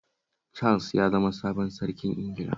Charles ya zama sabon sarkin Ingila